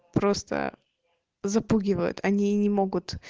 просто запугивают они не могут